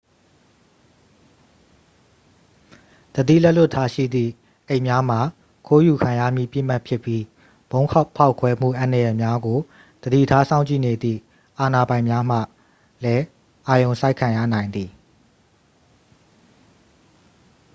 သတိလက်လွတ်ထားရှိသည့် အိတ်များမှာ ခိုးယူခံရမည့် ပစ်မှတ်ဖြစ်ပြီး ဗုံးဖောက်ခွဲမှုအန္တရာယ်များကို သတိထားစောင့်ကြည့်နေသည့် အာဏာပိုင်များမှလည်း အာရုံစိုက်ခံရနိုင်သည်